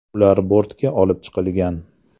Ular bortga olib chiqilgan.